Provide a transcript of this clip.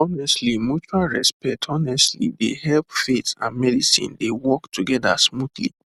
honestly mutual respect honestly dey help faith and medicine dey work together smoothly